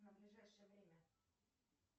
на ближайшее время